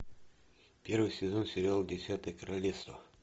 первый сезон сериал десятое королевство